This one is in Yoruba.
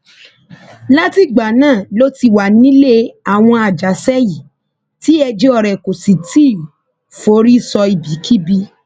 látìgbà náà ló ti wà nílé àwọn àjàṣe yìí tí ẹjọ rẹ kò sì tì í forí sọ ibikíbi